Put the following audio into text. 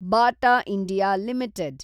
Bata India limited